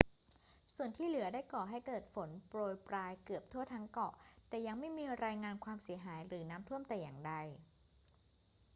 ส่วนที่เหลือได้ก่อให้เกิดฝนโปรยปรายเกือบทั่วทั้งเกาะ แต่ยังไม่มีรายงานความเสียหายหรือน้ำท่วมแต่อย่างใด